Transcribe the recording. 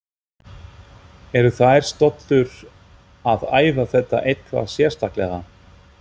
Eru þær stöllur að æfa þetta eitthvað sérstaklega?